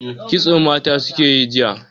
Kitso mata suka yi jiya.